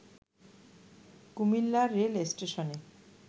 Comilla rail স্টেশনে